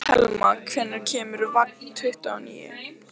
Telma, hvenær kemur vagn númer tuttugu og níu?